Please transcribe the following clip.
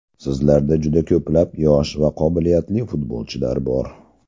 Sizlarda juda ko‘plab yosh va qobiliyatli futbolchilar bor.